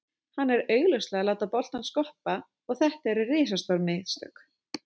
Hann er augljóslega að láta boltann skoppa og þetta eru risastór mistök.